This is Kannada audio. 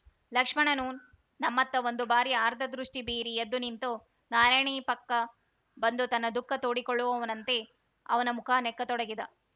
ಲಕ್ಷ್ಮಣನು ನಮ್ಮತ್ತ ಒಂದುಬಾರಿ ಆರ್ದ್ರದೃಷ್ಟಿಬೀರಿ ಎದ್ದುನಿಂತು ನಾರಾಯಣಿಯಪಕ್ಕ ಬಂದು ತನ್ನ ದುಖಃ ತೋಡಿಕೊಳ್ಳುವವನಂತೆ ಅವನ ಮುಖ ನೆಕ್ಕತೊಡಗಿದ